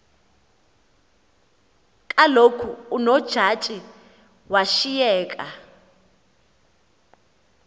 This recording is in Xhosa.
kaloku unojaji washiyeka